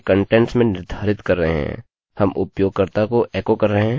हम उपयोगकर्ता को एकोecho कर रहे हैं कि यहाँ पर कितने विजिटर्सvisitorsहैं